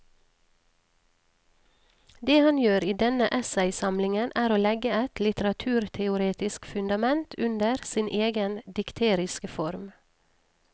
Det han gjør i denne essaysamlingen er å legge et litteraturteoretisk fundament under sin egen dikteriske form.